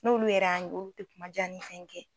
N'olu yɛrɛ y'an ye olu tɛ kumajan ni fɛn kɛ.